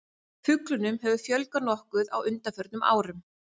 Fuglunum hefur fjölgað nokkuð á undanförnum árum.